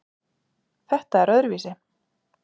Þetta er öðruvísi